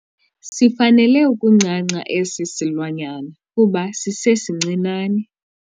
Sifanele ukuncanca esi silwanyana kuba sisesincinane.